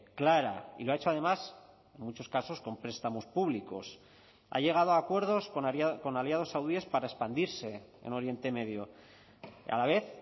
clara y lo ha hecho además en muchos casos con prestamos públicos ha llegado a acuerdos con aliados saudíes para expandirse en oriente medio a la vez